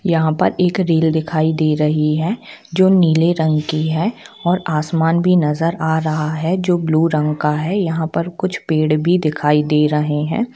यहाँ पर एक रेल दिखाई दे रही है जो नीले रंग की है और आसमान भी नज़र आ रहा है जो ब्लू रंग का है यहाँ पर कुछ पेड़ भी दिखाई दे रहे है।